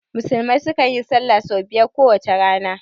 Musulmai su kan yin sallah sau biyar a kowace rana